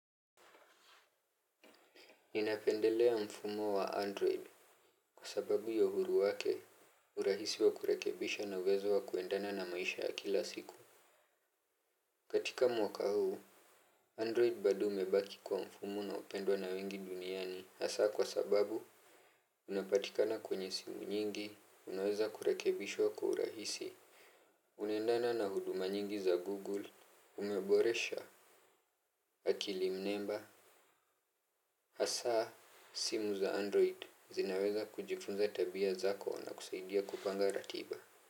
Ninapendelea mfumo wa Android kwa sababu ya uhuru wake urahisi wa kurekebisha na uwezo wa kuendana na maisha ya kila siku. Katika mwaka huu, Android bado umebaki kwa mfumo unaopendwa na wengi duniani. Hasa kwa sababu unapatikana kwenye simu nyingi, unaweza kurekebishwa kwa urahisi. Unaendana na huduma nyingi za Google, umeboresha, akili mnemba. Hasa simu za Android zinaweza kujifunza tabia zako na kusaidia kupanga ratiba.